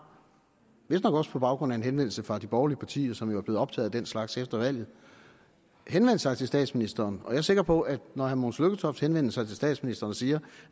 vistnok også på baggrund af en henvendelse fra de borgerlige partier som jo er blevet optaget af den slags efter valget henvendt sig til statsministeren og jeg er sikker på at når herre mogens lykketoft henvender sig til statsministeren og siger